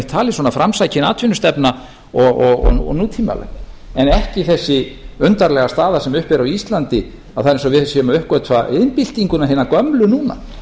talin svona framsækin atvinnustefna og nútímaleg en ekki þessi undarlega staða sem uppi er á íslandi að það er eins og við séum að uppgötva iðnbyltinguna hina gömlu núna